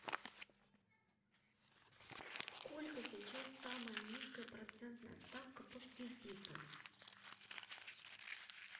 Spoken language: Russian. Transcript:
сколько сейчас самая низкая процентная ставка по кредиту